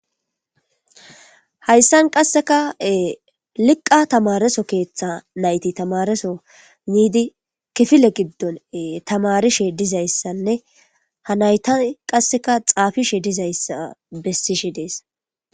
Hayssan qasseka liqqa tamareso keththa nayti tamareso biidi kifile gidon tammarishe dizayssanne ha naytay qasseka xafishe dizayssa besishe dees.